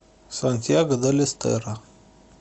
сантьяго дель эстеро